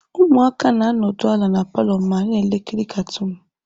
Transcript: Ụmụaka na-anọdụ ala na palọ ma ha na-ekiri katuunu.